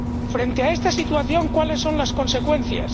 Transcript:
Frente a esta situación, ¿cuáles son las consecuencias?